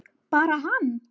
Bara hann?